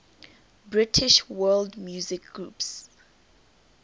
british world music groups